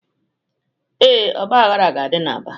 Ee, ọgbaghara ga-adị n'Aba.